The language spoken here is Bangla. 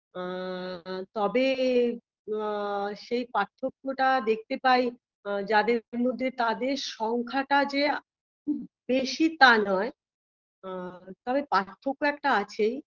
আ আ তবে আ সেই পার্থক্যটা দেখতে পাই যাদের মধ্যে তাদের সংখ্যাটা যে খুব বেশি তা নয় আ তবে পার্থক্য একটা আছেই